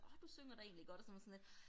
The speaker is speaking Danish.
Åh du synger da egentlig godt og så man sådan lidt